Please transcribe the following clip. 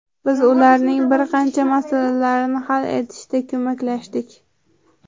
Biz ularning bir qancha masalalarini hal etishda ko‘maklashdik.